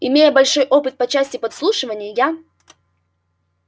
имея большой опыт по части подслушивания я